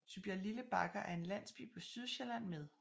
Tybjerglille Bakker er en landsby på Sydsjælland med